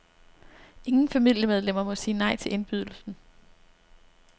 Ingen familiemedlemmer må sige nej til indbydelsen.